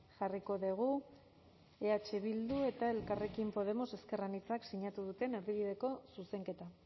jarriko dugu eh bildu eta elkarrekin podemos ezker anitzak sinatu duten erdibideko zuzenketa